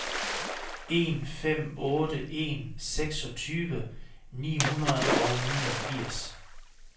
en fem otte en seksogtyve ni hundrede og niogfirs